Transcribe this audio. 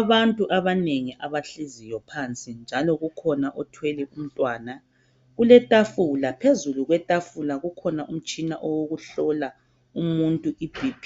abantu abanengi abahleziyo phansi njalo kukhona othwele umntwana kuletafula phezulu kwetafula kukhona umtshina owokuhlola umuntu i BP